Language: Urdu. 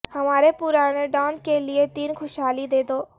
ہمارے پرانے ڈان کے لئے تین خوشحالی دے دو